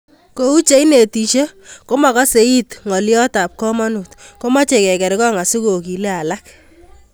Kou che inetisie komakasei it ngolyotab komonut komochei kekerkong asikogile alak